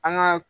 An ka